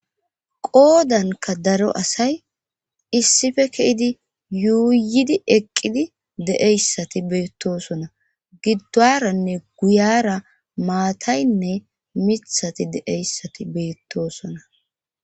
qoodanka daro asay issife keidi yuuyidi eqqidi de7eyssati beettosona giddoranne guyara maataynne mithati de7eyssati beettosona